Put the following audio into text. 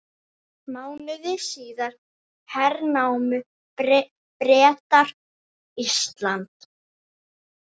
Mánuði síðar hernámu Bretar Ísland.